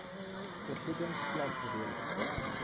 vergoedings vlak rede